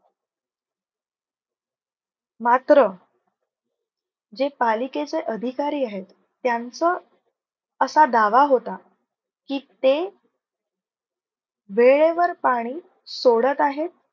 मात्र जे पालिकेचे अधिकारी आहेत. त्यांचं असा दावा होता. की, ते वेळेवर पाणी सोडत आहेत.